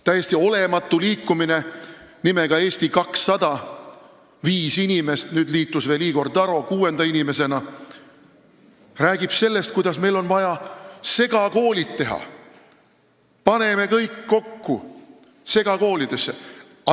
Täiesti olematu liikumine nimega "Eesti 200" – viis inimest, nüüd liitus kuuenda inimesena veel Igor Taro – räägib sellest, kuidas meil on vaja segakoolid teha, paneme kõik lapsed segakoolidesse kokku.